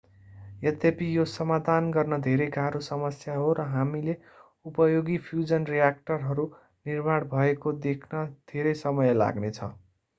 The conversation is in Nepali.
यद्यपि यो समाधान गर्न धेरै गाह्रो समस्या हो र हामीले उपयोगी फ्यूजन रिएक्टरहरू निर्माण भएको देख्न धेरै वर्ष लाग्ने छ